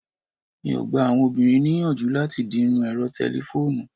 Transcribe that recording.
mi o gba àwọn obìnrin ni iyanju lati dirun ẹrọ telefonu